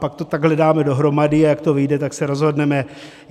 Pak to takhle dáme dohromady, a jak to vyjde, tak se rozhodneme.